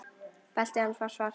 Beltið hans var svart.